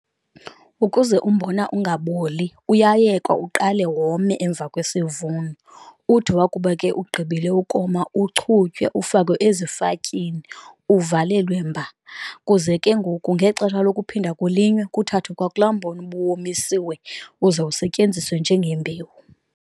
Ukuze umbona ingaboli uyayekwa uqale wome emva kwesivuno, uthi wakuba ke ugqibile ukoma uchutywe ufakwe ezifatyini uvalelwe mba, kuze ke ngoku ngexesha lokuphinda kulinywe kuthathwe kwakulaa mbona ubuwomisiwe uze usetyenziswe njengembewu.